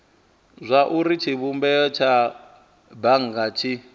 zwauri tshivhumbeo tsha bannga tshi